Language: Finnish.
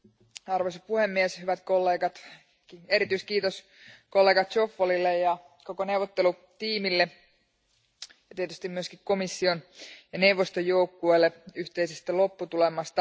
Arvoisa puhemies, hyvät kollegat, erityiskiitos kollega Zoffolille ja koko neuvottelutiimille ja tietysti myös komission ja neuvoston joukkueelle yhteisestä lopputulemasta.